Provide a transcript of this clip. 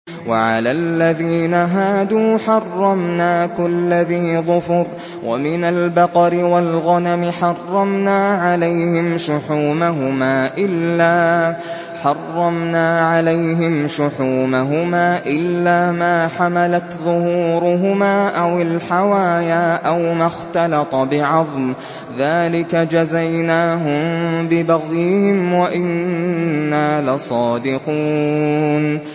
وَعَلَى الَّذِينَ هَادُوا حَرَّمْنَا كُلَّ ذِي ظُفُرٍ ۖ وَمِنَ الْبَقَرِ وَالْغَنَمِ حَرَّمْنَا عَلَيْهِمْ شُحُومَهُمَا إِلَّا مَا حَمَلَتْ ظُهُورُهُمَا أَوِ الْحَوَايَا أَوْ مَا اخْتَلَطَ بِعَظْمٍ ۚ ذَٰلِكَ جَزَيْنَاهُم بِبَغْيِهِمْ ۖ وَإِنَّا لَصَادِقُونَ